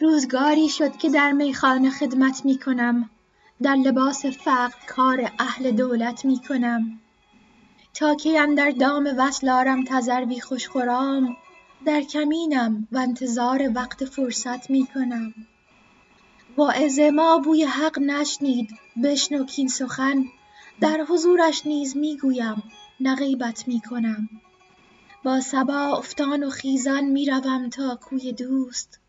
روزگاری شد که در میخانه خدمت می کنم در لباس فقر کار اهل دولت می کنم تا کی اندر دام وصل آرم تذروی خوش خرام در کمینم و انتظار وقت فرصت می کنم واعظ ما بوی حق نشنید بشنو کاین سخن در حضورش نیز می گویم نه غیبت می کنم با صبا افتان و خیزان می روم تا کوی دوست